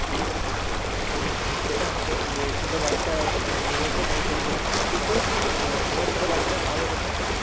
হম সেটা হবে যে ছোট বাচ্চা নিয়ে এসে পোষণ করে হবে। কিন্তু আমরা ছোট বাচ্চাটা পাবো কোথায়?